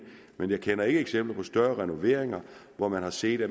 men jeg kender ikke eksempler på større renoveringer hvor man har set at